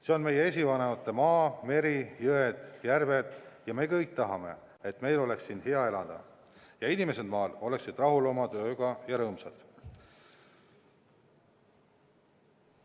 See on meie esivanemate maa, meri, jõed, järved ja me kõik tahame, et meil oleks siin hea elada ja inimesed maal oleksid rahul oma tööga ja rõõmsad.